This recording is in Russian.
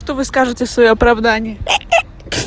что вы скажите в своё оправдание